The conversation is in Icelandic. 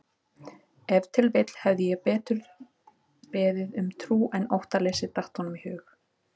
Ef til vill hefði ég betur beðið um trú en óttaleysi, datt honum í hug.